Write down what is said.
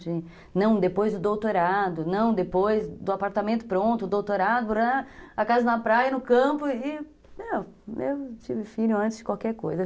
De não depois do doutorado, não depois do apartamento pronto, doutorado, a casa na praia, no campo e... Eu tive filho antes de qualquer coisa.